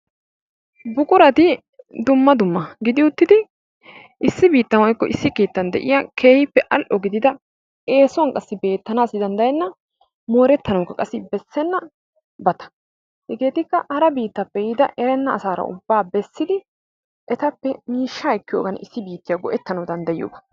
Buqurati dumma dumma gidi uttidi issi biittan woykko keettan de'iyaa keehippe all''o gidida, eessuwan qassi beettanassi danddayena, morettanawukka bessenabaata. Hegetika hara biittappe yiida erenna asaara ubbaa bessidi etappe miishsha ekkiyoogan issi biittiya go''ettanaw danddayiyooba.